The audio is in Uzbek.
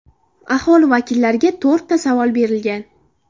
Aholi vakillariga to‘rtta savol berilgan.